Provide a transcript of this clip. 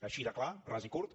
així de clar ras i curt